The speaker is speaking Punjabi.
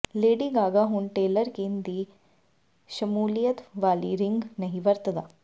ਲੇਡੀ ਗਾਗਾ ਹੁਣ ਟੇਲਰ ਕਿਨ ਦੀ ਸ਼ਮੂਲੀਅਤ ਵਾਲੀ ਰਿੰਗ ਨਹੀਂ ਵਰਤਦਾ